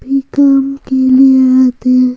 भी काम के लिए आते हैं।